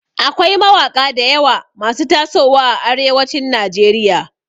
Akwai mawaƙa dayawa masu taso wa a arewacin nigeria